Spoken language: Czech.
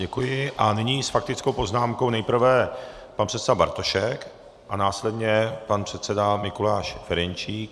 Děkuji a nyní s faktickou poznámkou nejprve pan předseda Bartošek a následně pan předseda Mikuláš Ferjenčík.